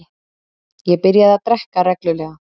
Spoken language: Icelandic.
Ég byrjaði að drekka reglulega.